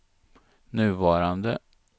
nuvarande